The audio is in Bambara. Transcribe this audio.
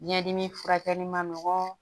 Biɲɛ dimi furakɛli ma nɔgɔn